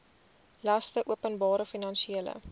laste openbare finansiële